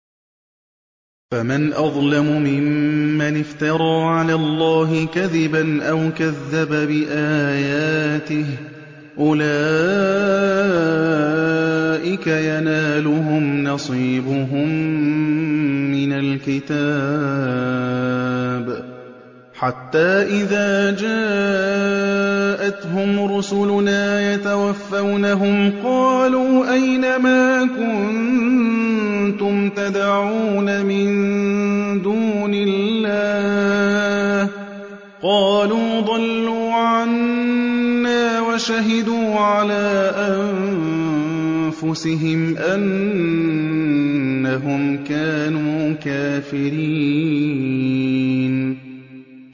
فَمَنْ أَظْلَمُ مِمَّنِ افْتَرَىٰ عَلَى اللَّهِ كَذِبًا أَوْ كَذَّبَ بِآيَاتِهِ ۚ أُولَٰئِكَ يَنَالُهُمْ نَصِيبُهُم مِّنَ الْكِتَابِ ۖ حَتَّىٰ إِذَا جَاءَتْهُمْ رُسُلُنَا يَتَوَفَّوْنَهُمْ قَالُوا أَيْنَ مَا كُنتُمْ تَدْعُونَ مِن دُونِ اللَّهِ ۖ قَالُوا ضَلُّوا عَنَّا وَشَهِدُوا عَلَىٰ أَنفُسِهِمْ أَنَّهُمْ كَانُوا كَافِرِينَ